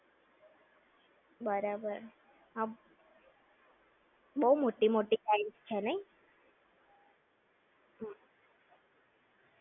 બરાબર. બવ મોટી મોટી rides છે નઈ?